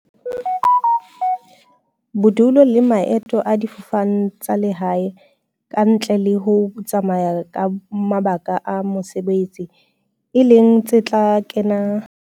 Bodulo le maeto a difofane tsa lehae, ka ntle le ho tsamaya ka mabaka a mo-sebetsi, e leng tse tla kena ka matsatsi a tla bolelwa.